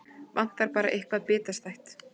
Vantar bara eitthvað bitastætt.